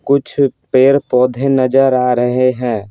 कुछ पेड़-पौधे नजर आ रहे हैं।